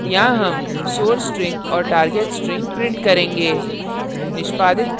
यहाँ हम source string और target string print करेंगे